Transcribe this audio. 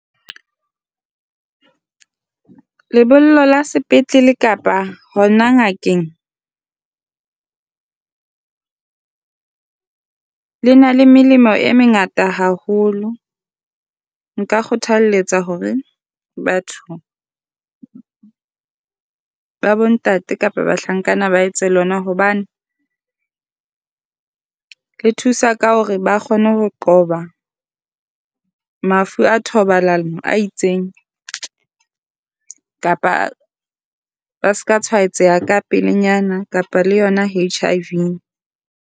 Lebollo la sepetlele kapa hona ngakeng le na le melemo e mengata haholo. Nka kgothaletsa hore batho ba bontate kapa bahlankana ba etse lona, hobane le thusa ka hore ba kgone ho qoba mafu a thobalano a itseng kapa ba seka tshwaetseha ka pelenyana kapa le yona HIV.